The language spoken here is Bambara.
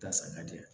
Tasa ma diya